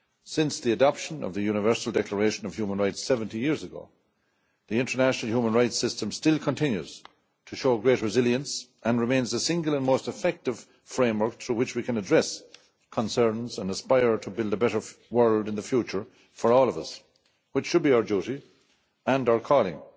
Since the adoption of the Universal Declaration of Human Rights 70 years ago, the international human rights system has continued to show great resilience and it remains the single most effective framework through which we can address concerns and aspire to build a better world in the future for all of us, which should be our duty and our calling.